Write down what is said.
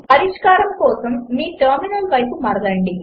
పరిష్కారం కోసం మీ టెర్మినల్ వైపు మరలండి